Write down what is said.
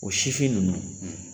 O sifin nunnu